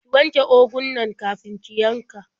Ki wanje ugun nan kafin ki yanka.